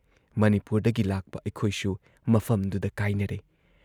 ꯃꯅꯤꯄꯨꯔꯗꯒꯤ ꯂꯥꯛꯄ ꯑꯩꯈꯣꯏꯁꯨ ꯃꯐꯝꯗꯨꯗ ꯀꯥꯏꯅꯔꯦ ꯫